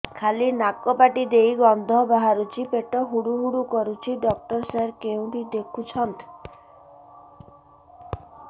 ଖାଲି ନାକ ପାଟି ଦେଇ ଗଂଧ ବାହାରୁଛି ପେଟ ହୁଡ଼ୁ ହୁଡ଼ୁ କରୁଛି ଡକ୍ଟର ସାର କେଉଁଠି ଦେଖୁଛନ୍ତ